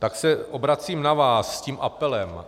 Tak se obracím na vás s tím apelem.